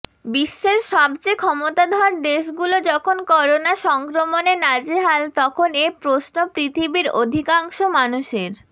বিশ্বের সবচেয়ে ক্ষমতাধর দেশগুলো যখন করোনা সংক্রমণে নাজেহাল তখন এ প্রশ্ন পৃথিবীর অধিকাংশ মানুষের